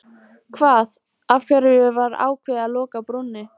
Hvað, af hverju var ákveðið að loka brúnni?